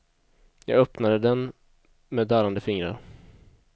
Jag öppnade den med darrande fingrar.